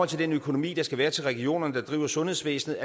til den økonomi der skal være til regionerne der driver sundhedsvæsenet